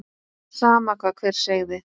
Sama hvað hver segði.